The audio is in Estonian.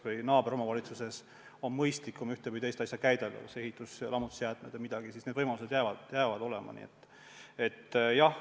Kui naaberomavalitsuses on mõistlikum ühte või teist asja käidelda, ehitus- ja lammutusjäätmeid näiteks, siis need võimalused jäävad alles.